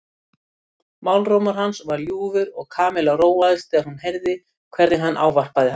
Málrómur hans var ljúfur og Kamilla róaðist þegar hún heyrði hvernig hann ávarpaði hana.